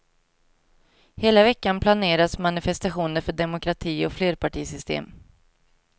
Hela veckan planeras manifestationer för demokrati och flerpartisystem.